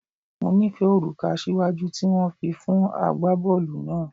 Mo nifẹ oruka asiwaju ti wọn fi fun agbabọọlu naa.